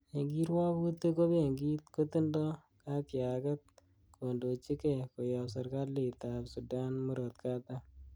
En kiruokik, ko benkit kotindo katyaget kondochige, koyob serkalitab Sudan Murot Katam .